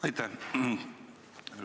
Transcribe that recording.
Aitäh!